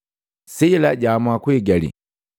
Sila jaamua kuigali.